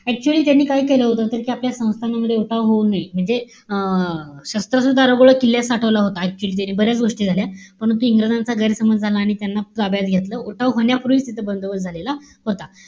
Actually त्यांनी काय केलं होत? तर, त्या आपल्या संस्थानामध्ये उठाव होऊ नाई. म्हणजे, अं शस्त्र सुद्धा दारुगोळा किल्ल्यात साठवला होता, actually त्यांनी. बऱ्याच गोष्टी झाल्या. परंतु, इंग्रजांचा गैरसमज झाला आणि त्यांना ताब्यात घेतलं. उठाव होण्यापूर्वीच तिथं बंदोबस्त झालेला होता.